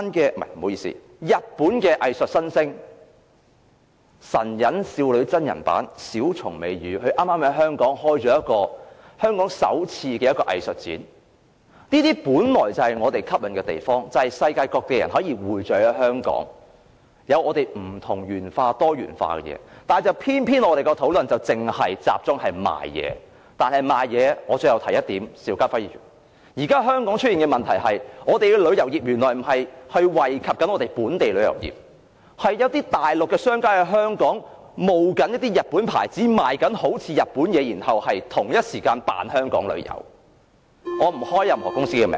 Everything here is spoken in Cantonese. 不好意思，是日本藝術新星、神隱少女真人版的小松美羽，她剛剛在香港舉行香港首次藝術展，本來這是香港一個吸引之處，便是吸引世界各地的人匯聚香港和多元化，但偏偏我們的討論只是集中於購物，但關於購物，邵家輝議員，我最後想提出一點，現在香港出現的問題是，我們的旅遊業原來並不惠及本地的旅遊業，而是一些中國大陸的商家在香港假冒一些日本牌子，售賣好像是日本製造的產品，然後在同一時間假裝是在香港旅遊。